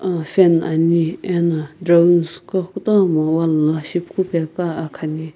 fan ani ena drawings qo kutomo wall la shipukupe pua akhani.